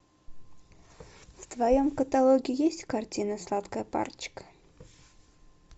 в твоем каталоге есть картина сладкая парочка